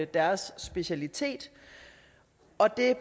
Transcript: deres speciale og det